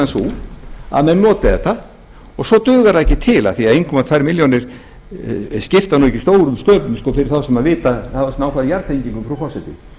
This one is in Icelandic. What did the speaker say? sú að menn noti þetta og svo dugar það ekki til af því að einn komma tveimur milljónum skipta ekki stórum sköpum fyrir þá sem vita að nálgast jarðtengingu frú forseti